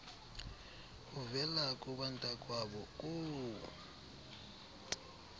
uvela kubantakwabo koo